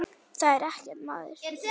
Það er ekkert að maður.